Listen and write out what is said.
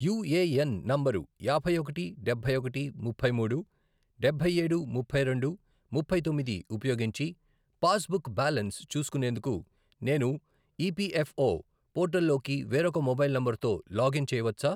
UAN number యాభై ఒకటి, డబ్బై ఒకటి, ముప్పై మూడు, డబ్బై ఏడు, ముప్పై రెండు, ముప్పై తొమ్మిది, ఉపయోగించి పాస్బుక్ బ్యాలన్స్ చూసుకునేందుకు నేను ఈపిఎఫ్ఓ పోర్టల్లోకి వేరొక మొబైల్ నంబరుతో లాగిన్ చేయవచ్చా?